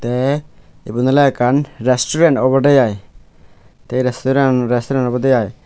the iben ole ekkan resturant obode iy the a restaurant obode I.